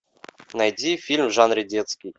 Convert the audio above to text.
найди фильм в жанре детский